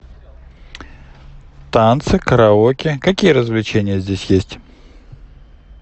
танцы караоке какие развлечения здесь есть